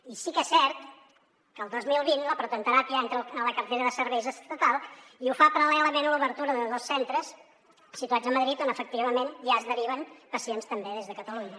i sí que és cert que el dos mil vint la protonteràpia entra a la cartera de serveis estatal i ho fa paral·lelament a l’obertura de dos centres situats a madrid on efectivament ja es deriven pacients també des de catalunya